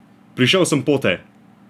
Prišel sem pote!